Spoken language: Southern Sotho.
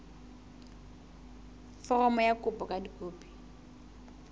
foromo ya kopo ka dikopi